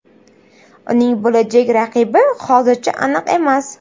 Uning bo‘lajak raqibi hozircha aniq emas.